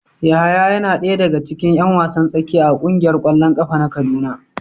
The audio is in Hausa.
Yahaya yana daya daga cikin yan wasan tsakiya a kungiyar kwallon kafa na kaduna.